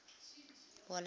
wallace